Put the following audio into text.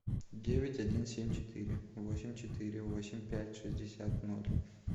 девять один семь четыре восемь четыре восемь пять шестьдесят ноль